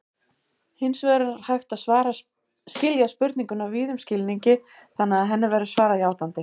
Hins vegar er hægt að skilja spurninguna víðum skilningi þannig að henni verði svarað játandi.